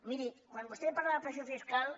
miri quan vostè parla de pressió fiscal